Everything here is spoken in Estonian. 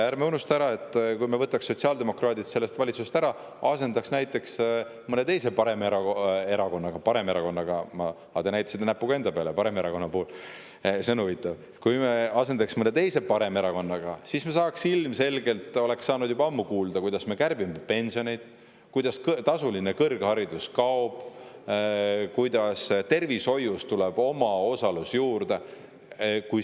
Ärme unustame, et kui me võtaks sotsiaaldemokraadid sellest valitsusest ära ja asendaks näiteks mõne paremerakonnaga – te näitasite paremerakonna puhul näpuga enda peale, see on huvitav –, siis me ilmselgelt oleks saanud juba ammu kuulda, kuidas me kärbime pensione, kõrgharidus kaob ja tervishoius tuleb omaosalust juurde.